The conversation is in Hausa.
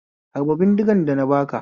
Harba bindigan da na baka